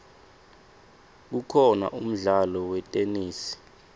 kukhona umdlalo wetenesi